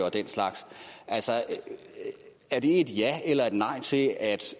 og den slags er det et ja eller nej til at